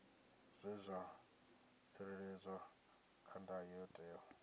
zwe dza tsireledzwa kha ndayotewa